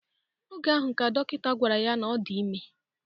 Oge ahụ, ka dọkịta gwara ya na ọ dị ime